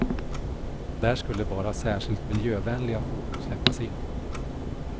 Där skulle bara särskilt miljövänliga fordon släppas in.